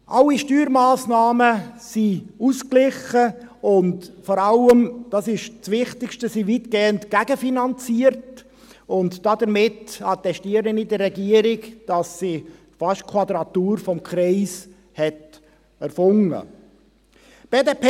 Alle Steuermassnahmen sind ausgeglichen und vor allem – das ist das Wichtigste – weitgehend gegenfinanziert, und damit attestiere ich der Regierung, dass sie fast die Quadratur des Kreises erfunden hat.